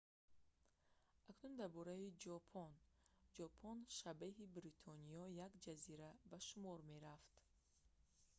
акнун дар бораи ҷопон ҷопон шабеҳи бритониё як ҷазира ба шумор мерафт